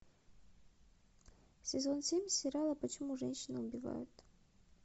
сезон семь сериала почему женщины убивают